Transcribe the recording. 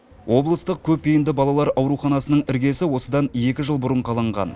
облыстық көпбейінді балалар ауруханасының іргесі осыдан екі жыл бұрын қаланған